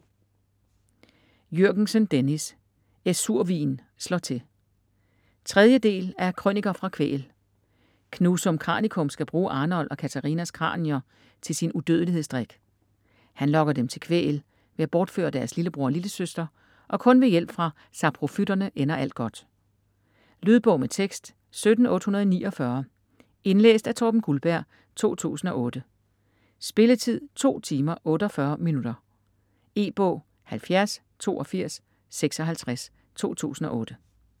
Jürgensen, Dennis: Æzurhvin slår til 3. del af Krøniker fra Kvæhl. Knusum Kranikum skal bruge Arnold og Catharinas kranier til sin udødelighedsdrik. Han lokker dem til Kvæhl ved at bortføre deres lillebror og lillesøster, og kun ved hjælp fra saprofytterne ender alt godt. Lydbog med tekst 17849 Indlæst af Torben Guldberg, 2008. Spilletid: 2 timer, 48 minutter. E-bog 708256 2008.